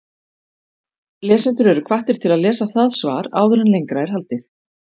Lesendur eru hvattir til að lesa það svar áður en lengra er haldið.